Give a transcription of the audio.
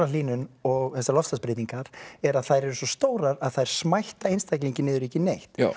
hamfarahlýnun og þessar loftslagsbreytingar er að þær eru svo stórar að þær smætta einstaklinginn niður í ekki neitt